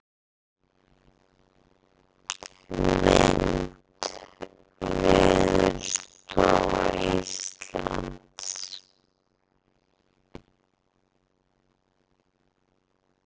Mynd: Veðurstofa Íslands.